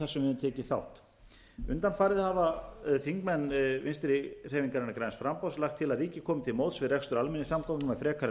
við höfum tekið þátt undanfarið hafa þingmenn vinstri hreyfingarinnar græns framboðs lagt til að ríkið komi til móts við rekstur almenningssamgangna með frekari